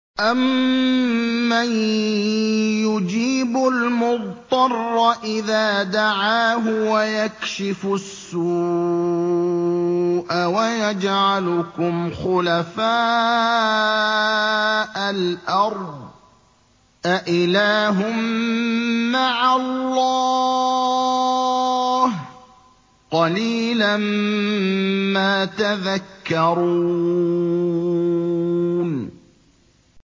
أَمَّن يُجِيبُ الْمُضْطَرَّ إِذَا دَعَاهُ وَيَكْشِفُ السُّوءَ وَيَجْعَلُكُمْ خُلَفَاءَ الْأَرْضِ ۗ أَإِلَٰهٌ مَّعَ اللَّهِ ۚ قَلِيلًا مَّا تَذَكَّرُونَ